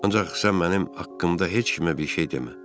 Ancaq sən mənim haqqımda heç kimə bir şey demə.